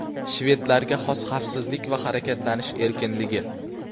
Shvedlarga xos xavfsizlik va harakatlanish erkinligi.